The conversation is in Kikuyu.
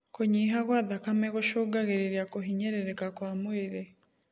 Kũnyiha gwa thakame gũcũngagĩrĩrĩa kũhinyĩrĩrĩka kwa mwĩrĩ